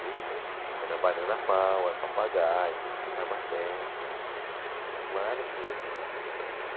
Disco que era Banana Power, Papagaio, Tamatete... Maravilhoso também, muito bom.